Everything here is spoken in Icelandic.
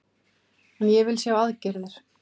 En ég vil sjá aðgerðir